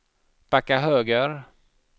backa höger